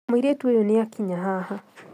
Mũirĩtu ũyũnĩakinya haha